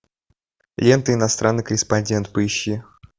лента иностранный корреспондент поищи